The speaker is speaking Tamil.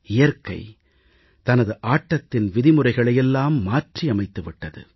இயற்கை தனது ஆட்டத்தின் விதிமுறைகளை எல்லாம் மாற்றி அமைத்து விட்டது